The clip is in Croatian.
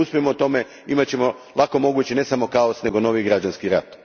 Ako ne uspijemo u tome, imat ćemo, lako moguće, ne samo kaos nego novi građanski rat.